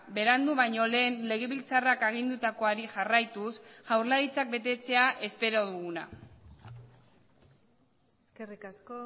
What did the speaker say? berandu baino lehen legebiltzarrak agindutakoari jarraituz jaurlaritzak betetzea espero duguna eskerrik asko